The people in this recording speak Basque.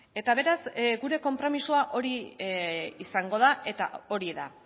eta beraz gure konpromisoa hori izango da eta hori da